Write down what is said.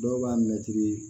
Dɔw b'a mɛtiri